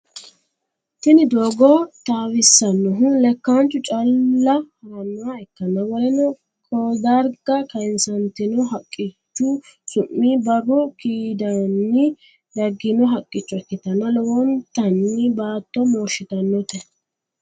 Tini dogo tawisanohu lekanchu calla haranoha ikana woleno kodariga kayisanitino haqqichu sumi baru kaidini dagino hakicho ikitana lowontani batto moshitanote.